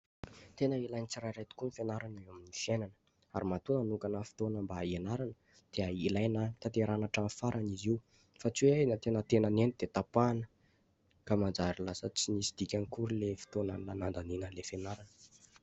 Tena ilain'ny tsirairay tokoa ny fianarana eo amin'ny fiainana. Ary matoa nanokana fotoana mba hianarana dia ilaina tanterahina hatramin'ny farany izy io, fa tsy hoe eny en-tenantenany eny dia tapahana. Ka manjary lasa tsy misy dikany akory ilay fotoana nandanina ilay fianarana.